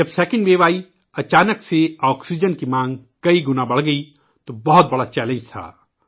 جب دوسری لہر آئی ، اچانک آکسیجن کی مانگ میں کئی گنا اضافہ ہوا ، یہ ایک بہت بڑا چیلنج تھا